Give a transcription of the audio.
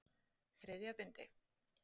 Þriðja bindi.